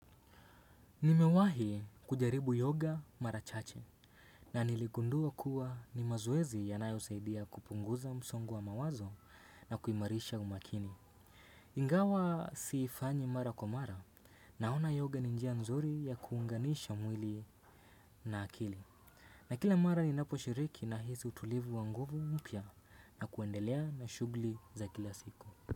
Nimewahi kujaribu yoga mara chache na niligundua kuwa ni mazoezi yanayosaidia kupunguza msongo wa mawazo na kuimarisha umakini. Ingawa siifanyi mara kwa mara naona yoga ni njia nzuri ya kuunganisha mwili na akili. Na kila mara ninaposhiriki nahisi utulivu wa nguvu mpya na kuendelea na shughuli za kila siku.